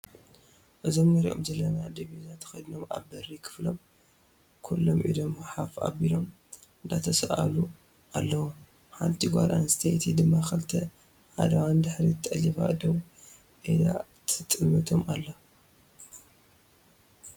እዞም እንረኦም ዘለና ድቢዛ ተከዲኖ ኣብ በሪ ክፍሎም ኩሎም ኢዶም ኣፍ ኣቢሎም እንዳተሰኣለው ኣለው ።ሓንቲ ጓል ኣነስተይቲ ድማ ክልተ ኣእዳዋ ንድሕሪት ጠሊፋ ደው ኢላ ትጥምቶም ኣላ።